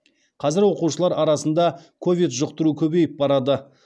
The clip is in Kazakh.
қазір оқушылар арасында ковид жұқтыру көбейіп барады